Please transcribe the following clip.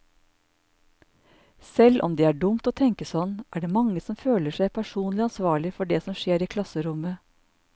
Selv om det er dumt å tenke sånn, er det mange som føler seg personlig ansvarlig for det som skjer i klasserommet.